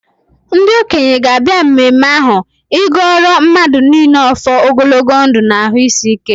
Ndị okenye ga-abịa mmemme ahụ ịgọọrọ mmadụ niile ọfọ ogologo ndụ na-arụ isi ike.